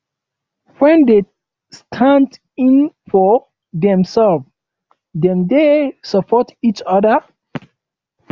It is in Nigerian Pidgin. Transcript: friends dey stand in for dem self dem dey support each oda